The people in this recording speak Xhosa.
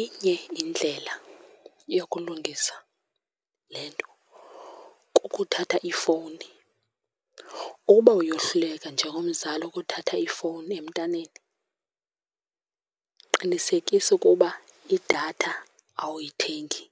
Inye indlela yokulungisa le nto kukuthatha ifowuni. Uba uyohluleka njengomzali ukuthatha ifowuni emntaneni, qinisekisa ukuba idatha awuyithengi,